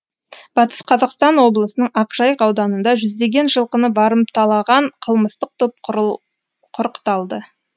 батыс қазақстан облысының ақжайық ауданында жүздеген жылқыны барымталаған қылмыстық топ құрықталды